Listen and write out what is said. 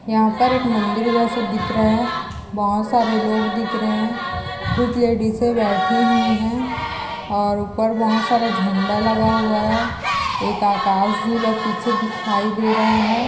यहां पर एक मंदिर जैसा दिख रहा है बहुत सारे लोग दिख रहे हैं कुछ लेडिसे से बैठी हुई है और ऊपर बहुत सारा झंडा लगा हुआ है एक आकाश झूला पीछे दिखाई दे रहा है।